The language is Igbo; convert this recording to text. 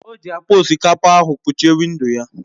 O ji akpa osikapa ahụ kpuchie windo ya.